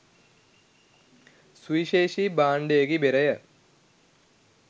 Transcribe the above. සුවිශේෂී භාණ්ඩයකි බෙරය.